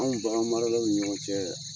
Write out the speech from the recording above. Anw bagan maralaw ni ɲɔgɔn cɛ